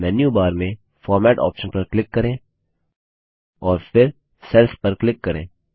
अब मेन्यूबार में format option पर क्लिक करें और फिर सेल्स पर क्लिक करें